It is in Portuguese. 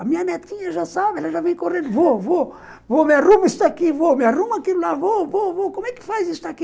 A minha netinha já sabe, ela já vem correndo, vô, vô, vô, me arrumo isso aqui, vô, me arrumo aquilo lá, vô, vô, vô, como é que faz isso aqui?